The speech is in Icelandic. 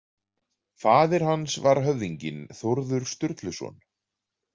Faðir hans var höfðinginn Þórður Sturluson.